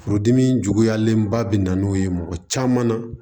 Furudimi juguyalen ba bɛ na n'o ye mɔgɔ caman na